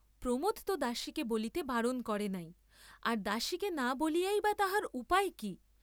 প্রমোদ তো দাসীকে বলিতে বারণ করেন নাই, আর দাসীকে না বলিয়াই বা তাহার উপায় কি?